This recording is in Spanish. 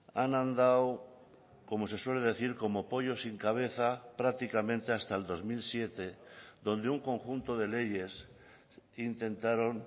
han andado como se suele decir como pollos sin cabeza prácticamente hasta el dos mil siete donde un conjunto de leyes intentaron